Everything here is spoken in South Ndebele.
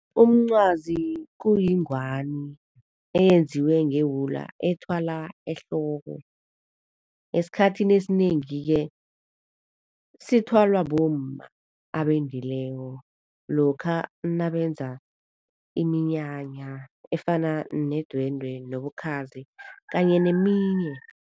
Umncwazi kuyingwani eyenziwe ngewula, ethwala ehloko. Esikhathini esinengi-ke sithwalwa bomma abendileko lokha nabenza iminyanya efana nedwendwe nobukhazi kanye neminye.